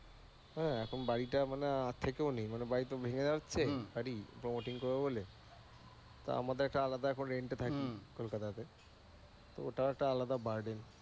হ্যাঁ, এখন বাড়িটা মানে থেকেও নেই মানে বাড়ি তো ভেঙ্গে যাচ্ছে বাড়ি promoting করবো বলে তা আমাদের একটা আলাদা এখন rent এ থাকি কলকাতা তে, তো ওটা একটা আলাদা বাড়ি।